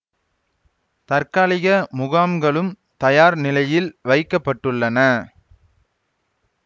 தற்காலிக முகாம்களும் தயார் நிலையில் வைக்க பட்டுள்ளன